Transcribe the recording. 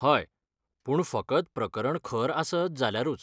हय, पूण फकत प्रकरण खर आसत जाल्यारूच.